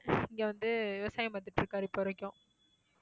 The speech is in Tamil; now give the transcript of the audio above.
இங்க வந்து விவசாயம் பாத்துட்டிருக்காரு இப்போ வரைக்கும்